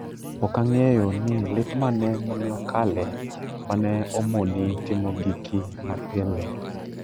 "Ok ang'eyo ni lit mane ma ne okale ma ne omoni timo giki ma pile."